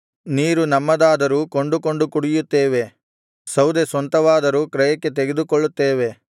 ನೀರು ನಮ್ಮದಾದರೂ ಕೊಂಡುಕೊಂಡು ಕುಡಿಯುತ್ತೇವೆ ಸೌದೆ ಸ್ವಂತವಾದರೂ ಕ್ರಯಕ್ಕೆ ತೆಗೆದುಕೊಳ್ಳುತ್ತೇವೆ